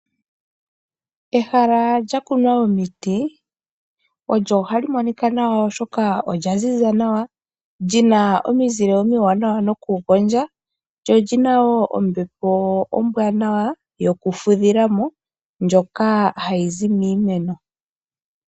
Ehala lya kumwa omiti olyo halyi monika nawa oshoka olya ziza nawa lyina omizile omiwanawa noku gondja ,lyo olyina wo ombepo ombwaanawa yoku fudhilamo ndjoka hayi zi miimeno.